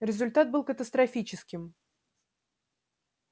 результат был катастрофическим